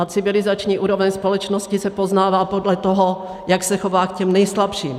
A civilizační úroveň společnosti se poznává podle toho, jak se chová k těm nejslabším.